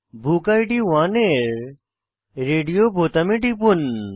বুকিড 1 এর রেডিও বোতামে টিপুন